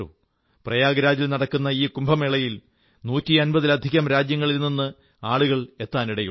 പ്രയാഗ്രാജിൽ നടക്കുന്ന ഈ കുംഭമേളയിൽ 150 ലധികം രാജ്യങ്ങളിൽ നിന്ന് ആളുകൾ എത്താനിടയുണ്ട്